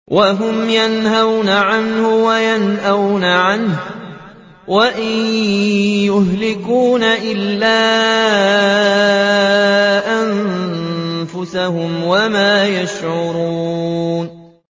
وَهُمْ يَنْهَوْنَ عَنْهُ وَيَنْأَوْنَ عَنْهُ ۖ وَإِن يُهْلِكُونَ إِلَّا أَنفُسَهُمْ وَمَا يَشْعُرُونَ